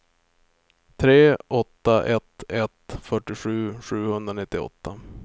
tre åtta ett ett fyrtiosju sjuhundranittioåtta